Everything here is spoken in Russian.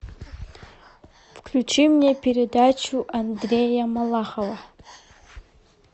включи мне передачу андрея малахова